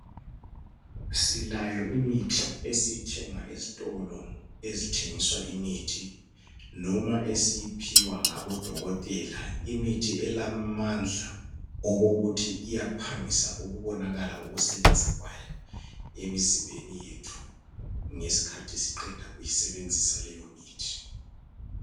Silayo imithi esiyithenga ezitolo ezithengiswa imithi noma esiyiphiwa ngabo dokotela. Imithi elamandla okokuthi iyaphangisa ukubonakala ukusebenza kwayo emzimbeni yethu ngesikhathi siqeda kuyi sebenzisa leyo mithi.